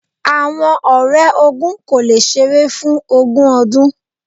Awọn ọrẹ ogún ko le ṣeré fún ogun ọdun.